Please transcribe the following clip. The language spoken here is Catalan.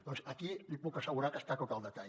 doncs aquí li puc assegurar que està tot al detall